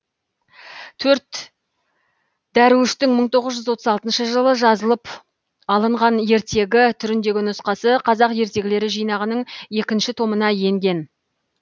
төрт дәруіштің мың тоғыз жүз тоқсан алтыншы жылы жазылып алынған ертегі түріндегі нұсқасы қазақ ертегілері жинағының екінші томына енген